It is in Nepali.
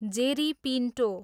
जेरी पिन्टो